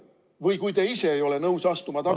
Või kui te ise ei ole nõus astuma tagasi ...